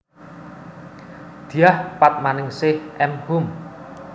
Dyah Padmaningsih M Hum